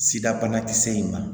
Sida banakisɛ in ma